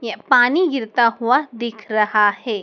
य पानी गिरता हुआ दिख रहा है।